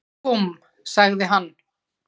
Búmm! sagði hann.